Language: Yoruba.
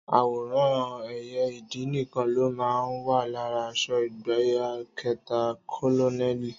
Àwòrán ẹyẹ ìdì nìkan ló máa ń wà lára aṣọ ìgbákẹta kólónẹ́ẹ̀lì.